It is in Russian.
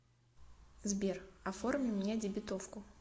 сбер оформи мне дебетовку